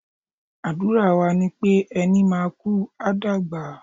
Àdúrà wa ni pé, ẹni máa kú, a dàgbà.